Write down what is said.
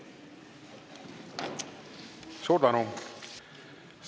Suur tänu!